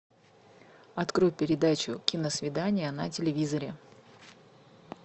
открой передачу киносвидание на телевизоре